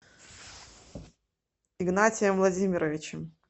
игнатием владимировичем